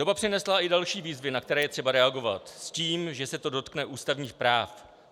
Doba přinesla i další výzvy, na které je třeba reagovat, s tím, že se to dotkne ústavních práv.